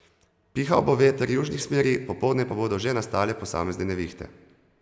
Pihal bo veter južnih smeri, popoldne pa bodo že nastale posamezne nevihte.